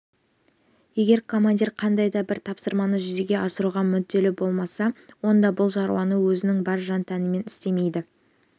егер командир қандай да бір тапсырманы жүзеге асыруға мүдделі болмаса онда бұл шаруаны өзінің бар жан-тәнімен істемейді